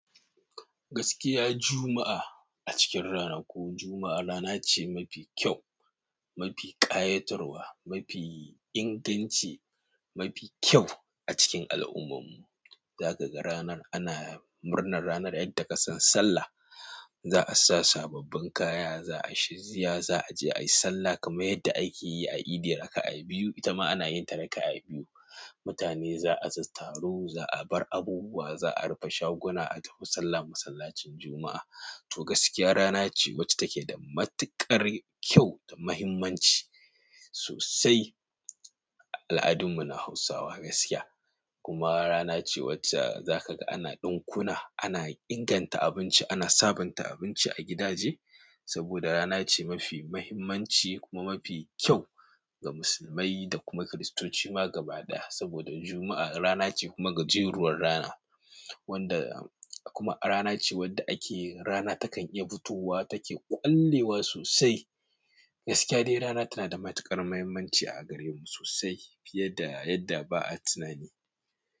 Gaskiya, Juma'a a cikin rana ko Juma'a rana ce mafi kyau, mafi ƙayatarwa, mafi inganci, mafi kyau a cikin al'ummar mu. Za ka ga ranar ana murnar ranar, yadda ka san sallah, za a sa sababbin kaya, za a yi shi ziya, za a je ayi sallah kamar yadda aike yi a Edi raka'a biyu. Ita ma ana yin ta raka'a biyu. Mutane za a taru, za a bar abubuwa, za a rufe shaguna, a tafi sallah masallacin Juma'a. To gaskiya rana ce wacce take da matuƙar kyau da muhimmanci sosai a al'adun mu na Hausawa gaskiya. Kuma ranace, wadda zakaga ana ɗinkuna ana in ganta abinci ana sabunta abinci a gidaje saboda rana ce mafi muhimmanci kuma mafi kyau ga musulmai da kuma kiristoci ma gaba ɗaya, saboda Juma'a ranace kuma gajeruwar rana, wanda kuma ranace wadda ake rana takan iya fitowa take ƙwallewa sosai gaskiya dai rana tana da matuƙar muhimmanci a gare mu sosai fiye da yadda ba'a tunani.